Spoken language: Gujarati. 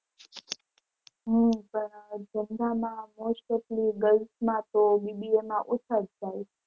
હમ પણ most of લી girls મા તો BBA માં ઓછા જ જાય છે.